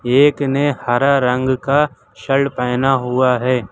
एक ने हरा रंग का शल्ट पहना हुआ है।